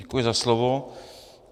Děkuji za slovo.